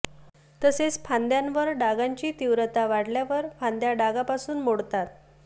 तसेच फांद्यांवर डागांची तीव्रता वाढल्यावर फांद्या डागापासून मोडतात